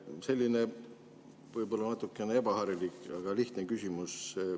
Selline võib-olla natukene ebaharilik, aga lihtne küsimus.